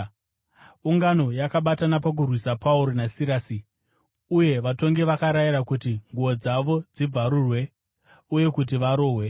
Ungano yakabatana pakurwisa Pauro naSirasi, uye vatongi vakarayira kuti nguo dzavo dzibvarurwe uye kuti varohwe.